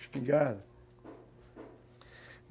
Espingarda.